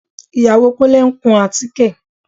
Ìyàwó Kúnlé ń kun àtíké